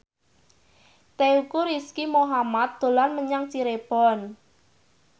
Teuku Rizky Muhammad dolan menyang Cirebon